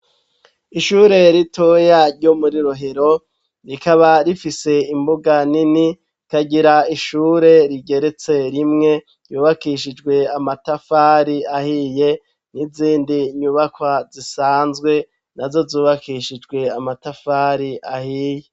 Ishure ritoyaryo muri rohero rikaba rifise imbuga nini kagira ishure rigeretse rimwe yubakishijwe amatafari ahiye n'izindi nyubakwa zisanzwe na zo zubakishijwe amatafari ahiye.